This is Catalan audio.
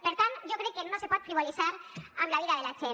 per tant jo crec que no se pot frivolitzar amb la vida de la gent